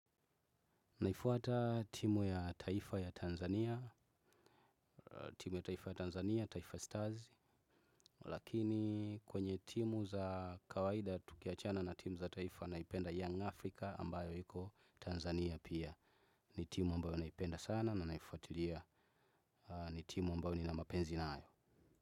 Naifuata timu ya taifa ya Tanzania, timu ya taifa ya Tanzania, taifa Stars, lakini kwenye timu za kawaida tukiachana na timu za taifa naipenda Young Africa ambayo iko Tanzania pia ni timu ambayo naipenda sana na naifuatilia ni timu ambayo nina mapenzi nayo.